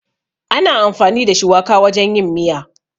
Ana amfani da shuwaka wajen yin miya.